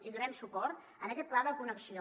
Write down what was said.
hi donarem suport a aquest pla de connexió